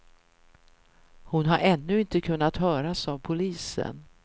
Hon har ännu inte kunnat höras av polisen.